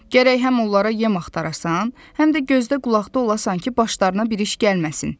Gərək həm onlara yem axtarasan, həm də gözdə qulaqda olasan ki, başlarına bir iş gəlməsin.